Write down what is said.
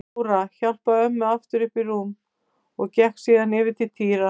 Jóra hjálpaði ömmu aftur upp í rúmið og gekk síðan yfir til Týra.